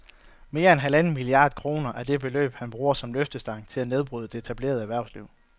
Mere end halvanden milliard kroner er det beløb, han bruger som løftestang til at nedbryde det etablerede erhvervsliv